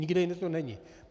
Nikde jinde to není.